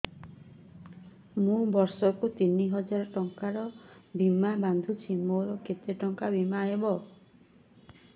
ମୁ ବର୍ଷ କୁ ତିନି ହଜାର ଟଙ୍କା ବୀମା ବାନ୍ଧୁଛି ମୋର କେତେ ଟଙ୍କାର ବୀମା ହବ